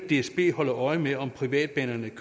dsb holde øje med om privatbanerne